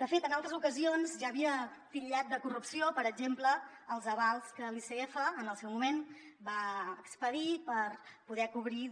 de fet en altres ocasions ja havia titllat de corrupció per exemple els avals que l’icf en el seu moment va expedir per poder cobrir